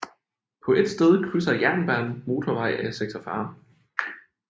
På et sted krydser jernbanen motorvej A46